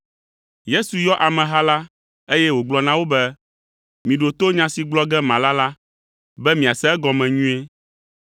Yesu yɔ ameha la, eye wògblɔ na wo be, “Miɖo to nya si gblɔ ge mala la, be miase egɔme nyuie.